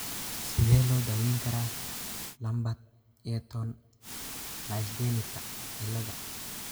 Sidee loo daweyn karaa Lambert Eaton myasthenika cilada?